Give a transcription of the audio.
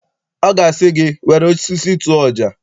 Ọ ga-asị gị, were osisi tụọ ọja!